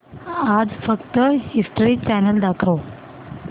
आज फक्त history channel दाखव